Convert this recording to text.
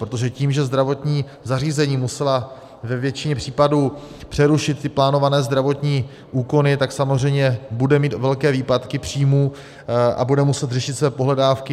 Protože tím, že zdravotní zařízení musela ve většině případů přerušit ty plánované zdravotní úkony, tak samozřejmě bude mít velké výpadky příjmů a bude muset řešit své pohledávky.